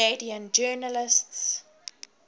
canadian journalists